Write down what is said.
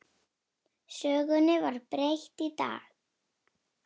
Sögunni var breytt í dag.